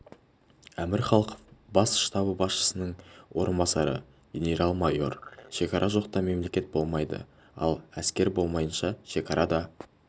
әмір халықов бас штабы басшысының орынбасары генерал-майор шекара жоқта мемлекет болмайды ал әскер болмайыша шекара да